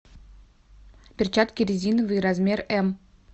перчатки резиновые размер м